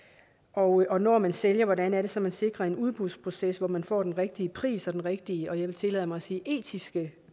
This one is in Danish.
og og når man sælger hvordan er det så man sikrer en udbudsproces hvor man får den rigtige pris og den rigtige jeg vil tillade mig at sige etiske